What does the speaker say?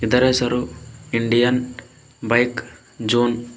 ಇದರ ಹೆಸರು Indian bike zone .